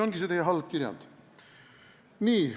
Nii.